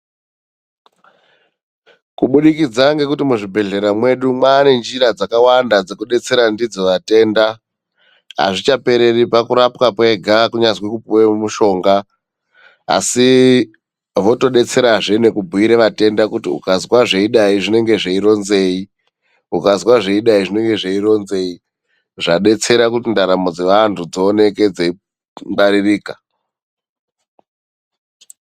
Kubudikidza ngekuti muzvibhedhlera medu mane nzira dzakawanda dzekudetsera vatenda ,azvichapereri pakurapwa pega kana kupihwa mitombo asi votodetsera zveneku kubhuyira vatenda kuti ukazonzwa zvakudai zvinenge zvichironzei zvadetsera kuti ndaramo dzevandu dzioneke dzei ngwaririka